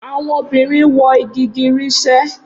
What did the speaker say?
Awọn obirin wọ igigirisẹ